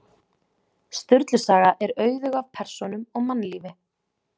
Sturlu saga er auðug af persónum og mannlífi.